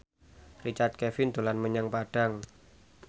Richard Kevin dolan menyang Padang